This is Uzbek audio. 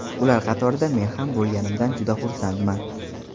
Ular qatorida men ham bo‘lganimdan juda xursandman.